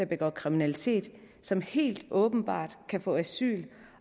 begår kriminalitet som helt åbenbart kan få asyl